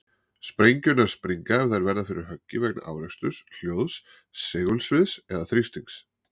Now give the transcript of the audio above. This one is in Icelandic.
Sprengjurnar springa ef þær verða fyrir höggi vegna áreksturs, hljóðs, segulsviðs eða þrýstings.